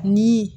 Ni